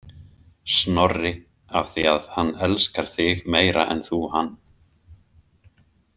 Snorri af því að hann elskar þig meira en þú hann.